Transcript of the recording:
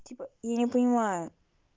типа я не понимаю